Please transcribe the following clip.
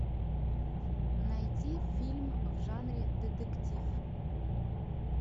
найти фильм в жанре детектив